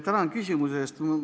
Tänan küsimuse eest!